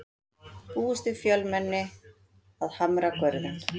Búist við fjölmenni að Hamragörðum